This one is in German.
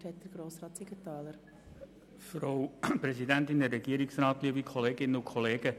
Zuerst hat Grossrat Siegenthaler das Wort.